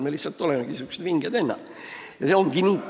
Me lihtsalt oleme sellised vinged vennad ja nii ongi.